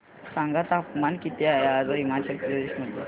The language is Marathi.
सांगा तापमान किती आहे आज हिमाचल प्रदेश मध्ये